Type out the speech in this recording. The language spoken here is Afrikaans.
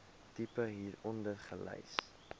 tipe hieronder gelys